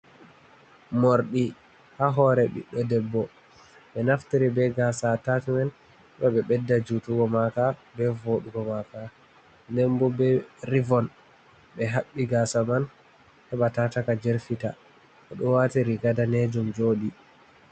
Morɗi ha hore ɓiɗɗo debbo ɓe naftiri be gasa atacimen ɗo ɓe ɓedda jutugo maka be voɗugo maka, ndenbo be rivon ɓe haɓɓi gasa man heba taka jerfita, oɗo wati riga danejum jodi.